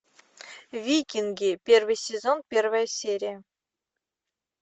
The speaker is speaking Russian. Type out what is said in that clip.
викинги первый сезон первая серия